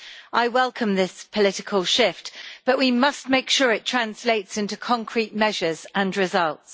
I welcome this political shift, but we must make sure it translates into concrete measures and results.